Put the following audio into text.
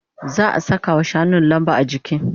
Za'a sakawa shanun lamba. ajiki